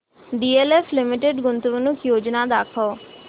DLF limited गुंतवणूक योजना दाखव